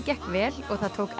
gekk vel og það tók